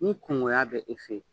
Ni kungoya bɛ e fɛ yen